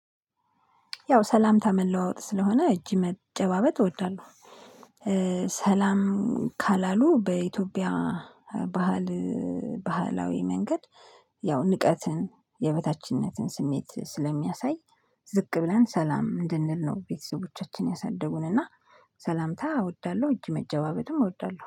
ያው ሰላምታ መለዋወጥ ስለሆነ እጅ መጨባበጥ እወዳለሁ። ሰላም ካላሉ በኢትዮጵያ ባህል ባህላዊ መንገድ ያው ንቀትን የበታችነትን ስሜት ስለሚያሳይ ዝቅ ብለን ሰላም እንድንል ነው። ቤተሰቦቻችን ያሳደጉን እና ሰላምታ እወዳለሁ እጅ መጨባበጥም እወዳለሁ